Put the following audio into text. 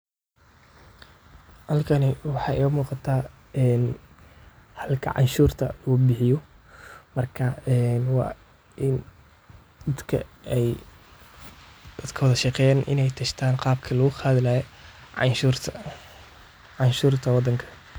Cashuuraha waa qayb muhiim ah oo ka mid ah nidaamka dhaqaalaha ee dowlad kasta, waxaana loo isticmaalaa in lagu maalgeliyo adeegyada bulshada sida caafimaadka, waxbarashada, amniga, iyo horumarinta kaabayaasha dhaqaalaha. Cashuuraha waxaa laga qaadaa shaqsiyaadka iyo ganacsiyada iyadoo lagu saleynayo dakhliga ay helaan ama hantida ay leeyihiin.